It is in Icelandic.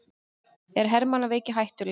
Er hermannaveiki hættuleg?